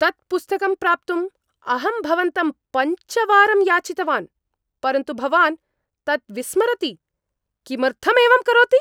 तत् पुस्तकं प्राप्तुं अहं भवन्तं पञ्चवारं याचितवान्, परन्तु भवान् तत् विस्मरति, किमर्थं एवं करोति?